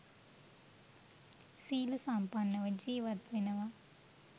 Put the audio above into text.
සීල සම්පන්නව ජීවත් වෙනවා.